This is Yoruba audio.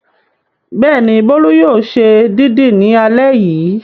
Bẹ́ẹ̀ni, Bólú yóò ṣe dídì ní alẹ́ yìí.